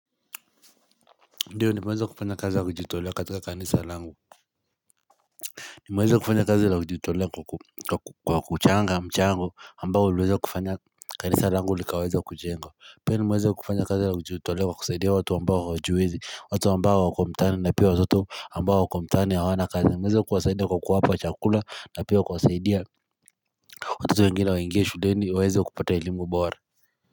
Ndio nimeweza kufanya kazi la kujitolea katika kanisa langu nimweza kufanya kazi la kujitolea kwa kuchanga mchango ambao uliweza kufanya kanisa langu likaweza kujengwa Pia nimweza kufanya kazi la kujitolea kwa kusaidia watu ambao hawajiwezi watu ambao wako mtaani na pia watoto ambao wako mtaani hawana kazi nimeweza kuwasaidia kwa kuwapa chakula na pia kuwasaidia watoto wengine waiingie shuleni waeze kupata elimu bora.